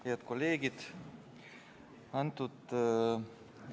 Head kolleegid!